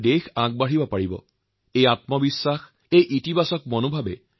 দেশত আজি আশাআকাংক্ষাৰে ভৰা আত্মবিশ্বাসৰ এক ইতিবাচক পৰিবেশ গঢ় লৈছে